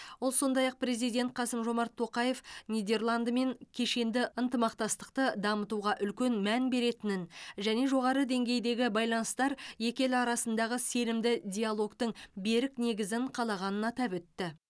ол сондай ақ президент қасым жомарт тоқаев нидерландымен кешенді ынтымақтастықты дамытуға үлкен мән беретінін және жоғары деңгейдегі байланыстар екі ел арасындағы сенімді диалогтың берік негізін қалағанын атап өтті